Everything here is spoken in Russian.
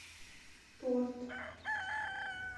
торт